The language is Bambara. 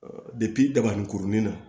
dabaninkurunin na